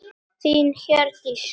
Þín Hjördís Rut.